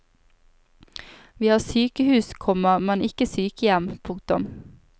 Vi har sykehus, komma men ikke sykehjem. punktum